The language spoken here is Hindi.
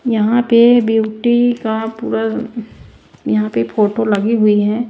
यहां पे ब्यूटी का पूरा यहां पे फोटो लगी हुई है।